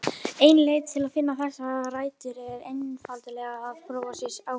Ein leið til að finna þessar rætur er einfaldlega að prófa sig áfram.